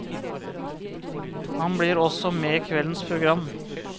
Han blir også med i kveldens program.